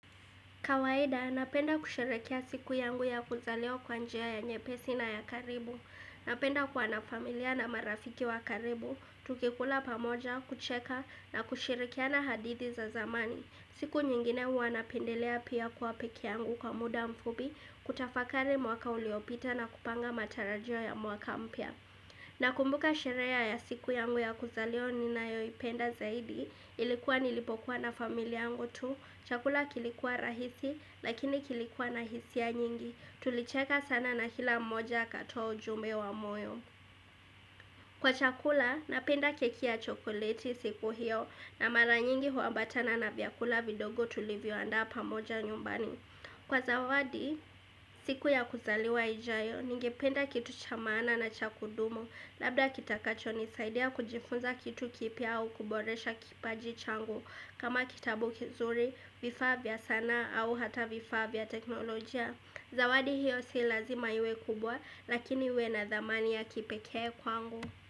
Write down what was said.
Kawaida, napenda kusherekea siku yangu ya kuzaliwa kwanjia ya nyepesi na ya karibu. Napenda kuwa na familia na marafiki wa karibu, tukikula pamoja, kucheka na kusherekiana hadithi za zamani. Siku nyingine huwa napendelea pia kwa pekee yangu kwa muda mfupi, kutafakari mwaka uliopita na kupanga matarajio ya mwaka mpya. Na kumbuka sherehe ya siku yangu ya kuzaliwa nina yoi penda zaidi, ilikuwa nilipokuwa na familia yangu tu, chakula kilikuwa rahisi lakini kilikuwa na hisia nyingi, tulicheka sana na kila moja akatoa ujumbe wa moyo. Kwa chakula, napenda keki ya chokoleti siku hiyo na mara nyingi huambatana na vyakula vidogo tulivyoandaa pamoja nyumbani. Kwa zawadi, siku ya kuzaliwa ijayo, nige penda kitu cha maana na cha kudumu, labda kitakacho nisaidia kujifunza kitu kipia au kuboresha kipaji changu. Kama kitabu kizuri, vifaa vya sana au hata vifaa vya teknolojia. Zawadi hiyo si lazima iwe kubwa lakini iwe na dhamani ya kipekee kwangu.